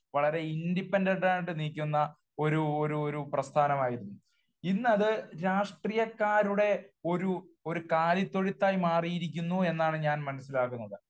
വളരെ ഇൻഡിപെൻഡൻറ് ആയിട്ട് നിക്കുന്ന ഒരു ഒരു പ്രസ്ഥാനമായിരുന്നു. ഇന്ന് അത് രാഷ്ട്രീയക്കാരുടെ ഒരു ഒരു കാലിത്തൊഴുത്തായി മാറിയിരിക്കുന്നു എന്നാണ് ഞാൻ മനസ്സിലാക്കുന്നത്.